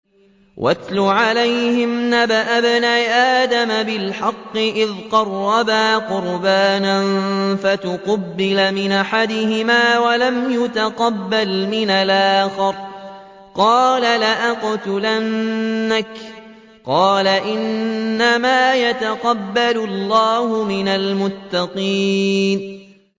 ۞ وَاتْلُ عَلَيْهِمْ نَبَأَ ابْنَيْ آدَمَ بِالْحَقِّ إِذْ قَرَّبَا قُرْبَانًا فَتُقُبِّلَ مِنْ أَحَدِهِمَا وَلَمْ يُتَقَبَّلْ مِنَ الْآخَرِ قَالَ لَأَقْتُلَنَّكَ ۖ قَالَ إِنَّمَا يَتَقَبَّلُ اللَّهُ مِنَ الْمُتَّقِينَ